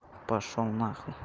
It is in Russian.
пошёл нахуй